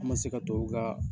An man se ka tubabu ka